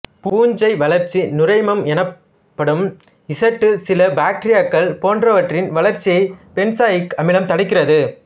பூஞ்சை வளர்ச்சி நுரைமம் எனப்படும் ஈசுட்டு சில பாக்டீரியாக்கள் போன்றவற்றின் வளர்ச்சியை பென்சாயிக் அமிலம் தடுக்கிறது